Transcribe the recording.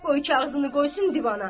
qoy kağızını qoysun divana.